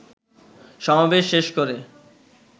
সমাবেশ শেষ করে